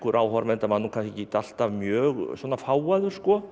áhorfenda var kannski ekkert alltaf mjög fágaður